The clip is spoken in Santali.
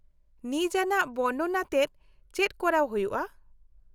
-ᱱᱤᱡᱟᱱᱟᱜ ᱵᱚᱨᱱᱚᱱ ᱟᱛᱮᱫ ᱪᱮᱫ ᱠᱚᱨᱟᱣ ᱦᱩᱭᱩᱜᱼᱟ ?